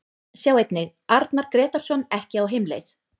Sjá einnig: Arnar Grétarsson ekki á heimleið